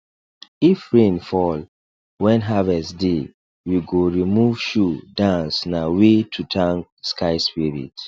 if rain fall when harvest deywe go remove shoe dance na way to thank sky spirit